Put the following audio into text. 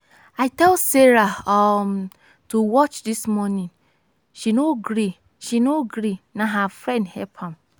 i tell sara um to watch dis morning she no gree she no gree na her friend help am.